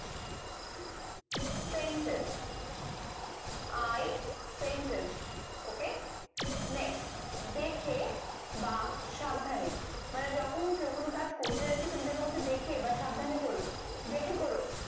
Sensted i Sensted ok next দেখে বা সাবধানে মানে যখন কেউ কোনো কাজ করতে যাচ্ছে তুমি তাকে বলছো দেখে বা সাবধানে করো দেখে করো